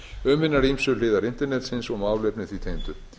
um hinar ýmsu hliðar internetsins og málefni því tengdu